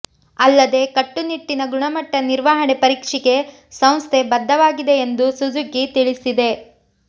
ಅಲ್ಲದೆ ಕಟ್ಟುನಿಟ್ಟಿನ ಗುಣಮಟ್ಟ ನಿರ್ವಹಣೆ ಪರೀಕ್ಷೆಗೆ ಸಂಸ್ಥೆ ಬದ್ಧವಾಗಿದೆ ಎಂದು ಸುಜುಕಿ ತಿಳಿಸಿದೆ